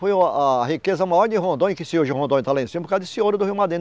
Foi a a riqueza maior de Rondônia, que se hoje Rondônia está lá em cima, por causa desse ouro do Rio.